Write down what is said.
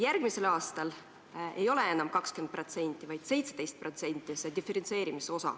Järgmisel aastal ei ole see diferentseerimise osa enam 20%, vaid 17%.